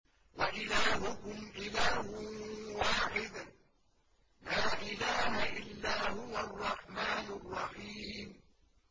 وَإِلَٰهُكُمْ إِلَٰهٌ وَاحِدٌ ۖ لَّا إِلَٰهَ إِلَّا هُوَ الرَّحْمَٰنُ الرَّحِيمُ